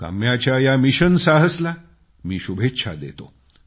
काम्याच्या या मिशन साहसला मी शुभेच्छा देतो